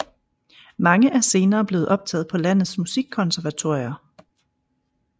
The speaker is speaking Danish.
Mange er senere blevet optaget på landets musikkonservatorier